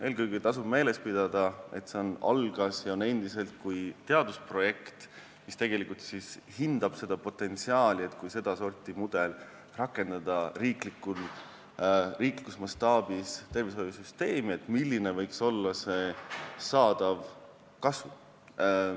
Eelkõige tasub meeles pidada, et see algas teadusprojektina ja on endiselt teadusprojekt, mis hindab seda potentsiaali, kui sedasorti mudel rakendada riiklikus mastaabis tervishoiusüsteemi, siis milline võiks olla sellest saadav kasu.